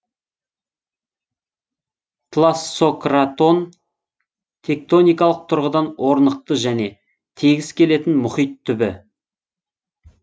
тлассократон тектоникалық тұрғыдан орнықты және тегіс келетін мұхит түбі